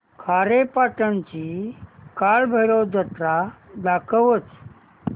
खारेपाटण ची कालभैरव जत्रा दाखवच